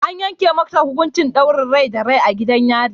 An yanke masa hukuncin daurin rai da rai a gidan yari.